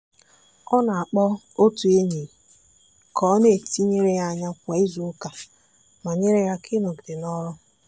ọ na-akpọ otu enyi ka ọ na-etinyere ya anya kwa izuụka ma nyere ya aka ịnọgide n'ọrụ.